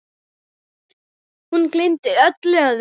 Hún gleymdi öllu öðru.